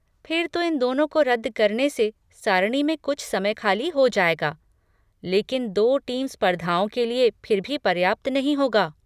फिर तो इन दोनों को रद्द करने से सारणी में कुछ समय खाली हो जाएगा, लेकिन दो टीम स्पर्धाओं के लिए फिर भी पर्याप्त नहीं होगा।